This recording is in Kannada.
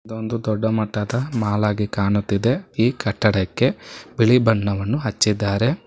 ಇದೊಂದು ದೊಡ್ಡ ಮಟ್ಟದ ಮಾಲ್ ಹಾಗಿ ಕಾಣುತ್ತಿದೆ ಈ ಕಟ್ಟಡಕ್ಕೆ ಬಿಳಿ ಬಣ್ಣವನ್ನು ಹಚ್ಚಿದ್ದಾರೆ.